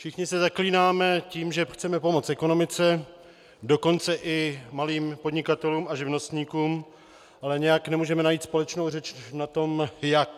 Všichni se zaklínáme tím, že chceme pomoct ekonomice, dokonce i malým podnikatelům a živnostníkům, ale nějak nemůžeme najít společnou řeč v tom jak.